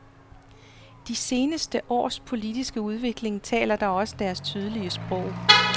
De seneste års politiske udvikling taler da også deres tydelige sprog.